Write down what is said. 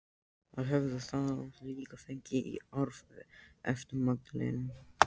Það höfðu þau líka fengið í arf eftir Magdalenu.